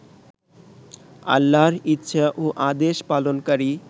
আল্লাহর ইচ্ছা ও আদেশ পালনকারী